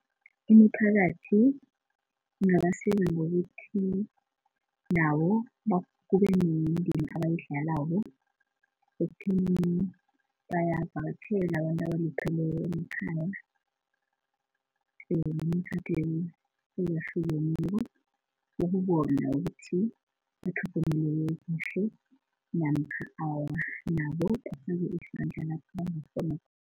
Imiphakathi ingabasiza ngokuthi nawo kube nendima abayidlalako. Ekutheni bayabavakatjhela abantu abalupheleko emakhaya nemikhakheni eyahlukeneko ukubona ukuthi bathlogomeleke kuhle namkha awa. Nabo kufanele ukuthi badlale indima yabo